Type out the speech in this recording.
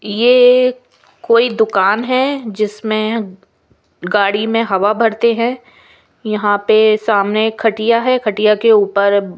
यह कोई दुकान है। जिसमें गाड़ी में हवा भरते हैं। यहां पे सामने खटिया है खटिया के ऊपर।